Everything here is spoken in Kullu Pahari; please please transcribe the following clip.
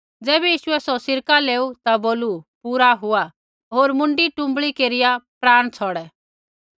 ज़ैबै यीशुऐ सौ सिरका लेऊ ता बोलू पूरा हुआ होर मुँडी टुँबड़ी केरिया प्राण छ़ौड़ै